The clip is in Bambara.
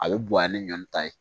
A bɛ bonya ni ɲɔn ta ye